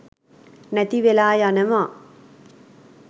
නැති වෙලා යනවා.